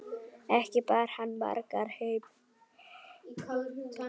Ekki bar hann margar heim.